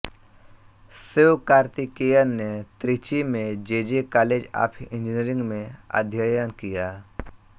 शिवकार्तिकेयन ने त्रिची में JJ college of engineering में अध्ययन किया